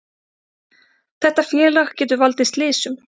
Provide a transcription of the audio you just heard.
Þetta félag getur valdið slysum,